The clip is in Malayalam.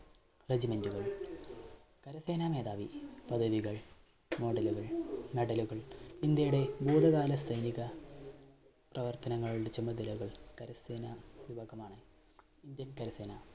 Regiment കൾ കരസേന മേധാവി പദവികൾ Medal കൾ Medal കൾ ഇന്ത്യയുടെ ഭൂതകാല സൈനിക പ്രവർത്തനങ്ങളുടെ ചുമതലകൾ കരസേന ഇന്ത്യൻ കരസേന